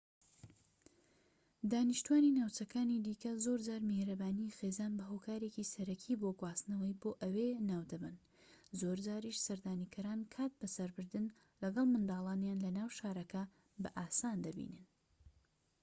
دانیشتوانی ناوچەکانی دیکە زۆرجار میهرەبانی خێزان بە هۆکارێکی سەرەکی بۆ گواستنەوە بۆ ئەوێ ناودەبەن زۆرجاریش سەردانیکەران کات بە سەربردن لەگەڵ منداڵانیان لە ناو شارەکە بە ئاسان دەبینن